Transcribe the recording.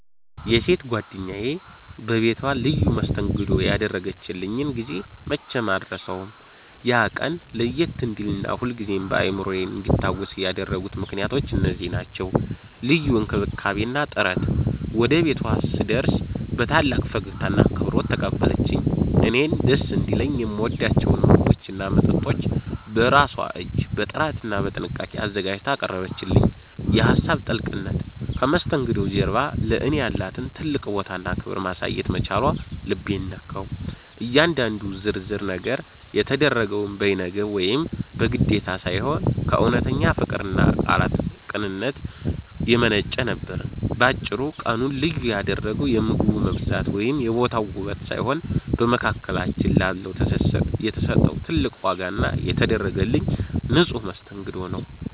የሴት ጓደኛዬ በቤቷ ልዩ መስተንግዶ ያደረገችልኝን ጊዜ መቼም አልረሳውም። ያ ቀን ለየት እንዲልና ሁልጊዜም በአእምሮዬ እንዲታወስ ያደረጉት ምክንያቶች እነዚህ ናቸው፦ ልዩ እንክብካቤ እና ጥረት፦ ወደ ቤቷ ስደርግ በታላቅ ፈገግታና አክብሮት ተቀበለችኝ። እኔን ደስ እንዲለኝ የምወዳቸውን ምግቦችና መጠጦች በራሷ እጅ በጥራትና በጥንቃቄ አዘጋጅታ አቀረበችልኝ። የሀሳብ ጥልቅነት፦ ከመስተንግዶው ጀርባ ለእኔ ያላትን ትልቅ ቦታና ክብር ማሳየት መቻሏ ልቤን ነካው። እያንዳንዱ ዝርዝር ነገር የተደረገው በይነገብ ወይም በግዴታ ሳይሆን፣ ከእውነተኛ ፍቅርና ካላት ቅንነት የመነጨ ነበር። ባጭሩ፤ ቀኑን ልዩ ያደረገው የምግቡ መብዛት ወይም የቦታው ውበት ሳይሆን፣ በመካከላችን ላለው ትስስር የተሰጠው ትልቅ ዋጋ እና የተደረገልኝ ንጹሕ መስተንግዶ ነው።